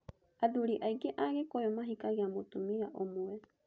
Athuri aingĩ a Gikuyu mahikagia mũtumia ũmwe.